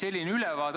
Aitäh!